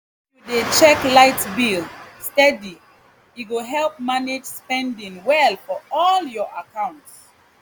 if you dey check light bill steady e go help manage spending well for all your account